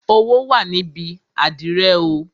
Owó wà níbi àdìrẹ oo